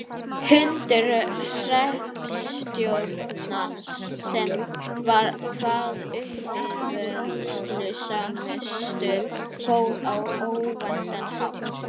Hundur hreppstjórans sem var hvað uppivöðslusamastur fór á óvæntan hátt.